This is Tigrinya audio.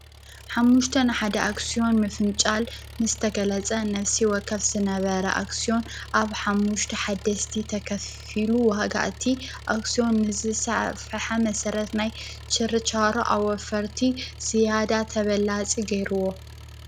ሓሙሽተ ንሓደ ኣክስዮን ምፍንጫል ምስ ተገለፀ ነፍሲ ወከፍ ዝነበረ ኣክስዩን ኣብ ሓሙሽተ ሓደሽቲ ተኸፊሉ ዋጋ አቲ ኣክስዩን ንዝሰፍሐ መሰረት ናይ ችርቻሮ ኣወፈርቲ ዝያዳ ተበላፂ ገይሩዎ፡፡